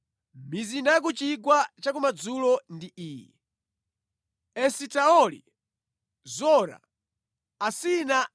Mizinda ya ku chigwa cha kumadzulo ndi iyi: Esitaoli, Zora, Asina